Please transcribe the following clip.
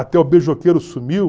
Até o beijoqueiro sumiu.